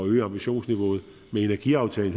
øge ambitionsniveauet med i energiaftalen